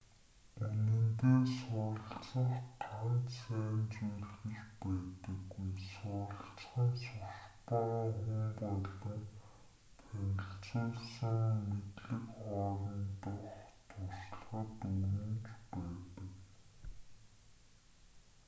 үнэндээ суралцах ганц сайн зүйл гэж байдаггүй суралцах нь сурч байгаа хүн болон танилцуулсан мэдлэг хоорондох туршлагад өрнөж байдаг